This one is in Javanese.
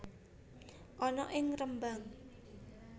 ana ing Rembang